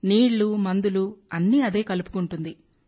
నీళ్ళు మందులు అన్నీ అదే కలుపుకుంటుంది